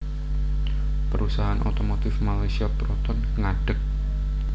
Perusahaan otomotif Malaysia Proton ngadeg